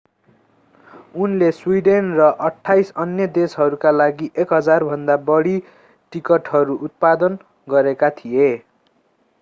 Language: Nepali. उनले स्वीडेन र 28 अन्य देशहरूका लागि 1,000भन्दा बढी टिकटहरू उत्पादन गरेका थिए